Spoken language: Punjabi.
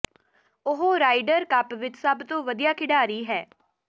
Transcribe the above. ਉਹ ਰਾਈਡਰ ਕੱਪ ਵਿਚ ਸਭ ਤੋਂ ਵਧੀਆ ਖਿਡਾਰੀ ਹੈ